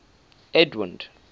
edwind